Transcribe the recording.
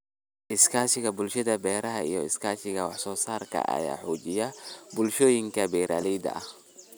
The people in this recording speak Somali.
Iskaashiga Bulshada Beeraha iyo iskaashiga wax soo saarka ayaa xoojiya bulshooyinka beeralayda ah.